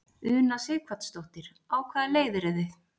Una Sighvatsdóttir: Á hvaða leið eru þið?